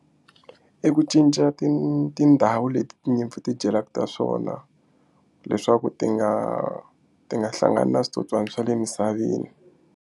I ku cinca ti tindhawu leti tinyimpfu ti dyelaka ta swona leswaku ti nga ti nga hlangani na switsotswana swa le misaveni.